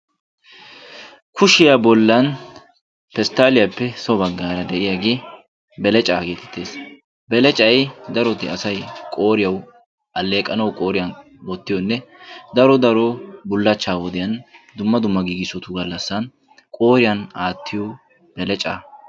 Kushiya bollan pestaaliyaappe so baggaara de"iyagee belecaa geetettees. Belecay daroti asay qooriyaw alleeqanawu qooriyan wottiyoonne daro daro bullachchaa wodiyan dumma giigissotu gallassan qooriyan aattiyo belecaa.